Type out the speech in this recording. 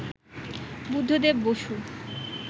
Buddhadeb Basu